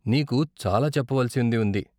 నీకు చాలా చెప్పవలసింది ఉంది.